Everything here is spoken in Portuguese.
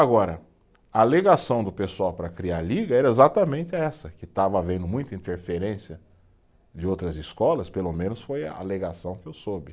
Agora, a alegação do pessoal para criar Liga era exatamente essa, que estava havendo muita interferência de outras escolas, pelo menos foi a alegação que eu soube.